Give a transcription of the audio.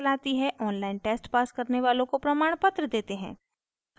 online test pass करने वालों को प्रमाणपत्र देते हैं